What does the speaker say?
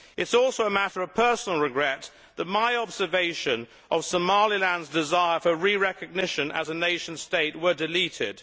It is also a matter of personal regret that my observation of Somaliland's desire for re recognition as a nation state was deleted.